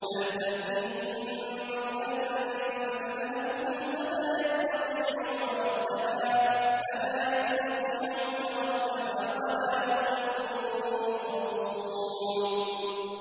بَلْ تَأْتِيهِم بَغْتَةً فَتَبْهَتُهُمْ فَلَا يَسْتَطِيعُونَ رَدَّهَا وَلَا هُمْ يُنظَرُونَ